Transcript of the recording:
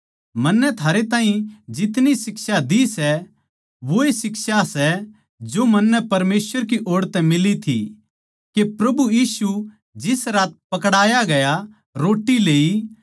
मन्नै थारे ताहीं जो शिक्षाएँ दी सै वोए शिक्षा सै जो मन्नै परमेसवर की ओड़ तै मिली थी के प्रभु यीशु जिस रात पकड़ाया गया रोट्टी लेई